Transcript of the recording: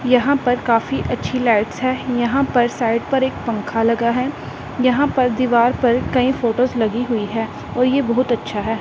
यहां पर काफ़ी अच्छी लाइट्स है यहां पर साइड पर एक पंखा लगा है यहां पर दीवार पर कई फोटोस लगी हुई है और ये बहुत अच्छा है।